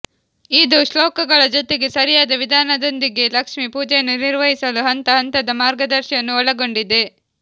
ಇದು ಶ್ಲೋಕಗಳ ಜೊತೆಗೆ ಸರಿಯಾದ ವಿಧಾನದೊಂದಿಗೆ ಲಕ್ಷ್ಮಿ ಪೂಜೆಯನ್ನು ನಿರ್ವಹಿಸಲು ಹಂತ ಹಂತದ ಮಾರ್ಗದಶಿಯನ್ನೂ ಒಳಗೊಂಡಿದೆ